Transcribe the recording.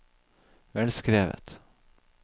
velskrevet